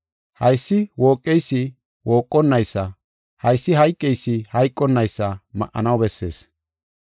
Haysi wooqeysi wooqonnaysa, haysi hayqeysi hayqonnaysa ma7anaw bessees.